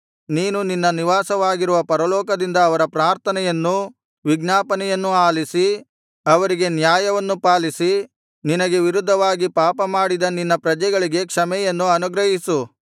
ನೀನು ನಿನ್ನ ನಿವಾಸವಾಗಿರುವ ಪರಲೋಕದಿಂದ ಅವರ ಪ್ರಾರ್ಥನೆಯನ್ನು ವಿಜ್ಞಾಪನೆಯನ್ನು ಆಲಿಸಿ ಅವರಿಗೆ ನ್ಯಾಯವನ್ನು ಪಾಲಿಸಿ ನಿನಗೆ ವಿರುದ್ಧವಾಗಿ ಪಾಪಮಾಡಿದ ನಿನ್ನ ಪ್ರಜೆಗಳಿಗೆ ಕ್ಷಮೆಯನ್ನು ಅನುಗ್ರಹಿಸು